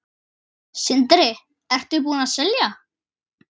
Sindri: Ertu búinn að selja?